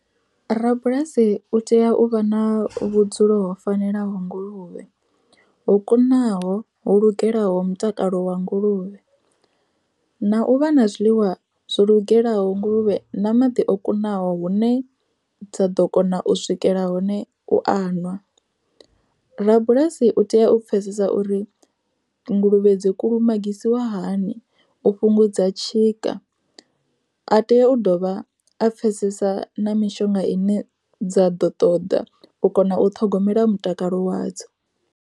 Rabulasi u tea u vha na vhudzulo ho fanelaho nguluvhe, ho kunaho ho lugelaho mutakalo wa nguluvhe. Na u vha na zwiḽiwa zwo lugelaho nguluvhe na maḓi o kunaho hune dza ḓo kona u swikela hone u a ṅwa. Rabulasi u tea u pfhesesa uri nguluvhe dzi kulumagisiwa hani u fhungudza tshika, a tea u dovha a pfhesesa na mishonga ine dza ḓo ṱoḓa u kona u ṱhogomela mutakalo wadzo.